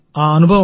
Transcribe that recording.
అనుభవం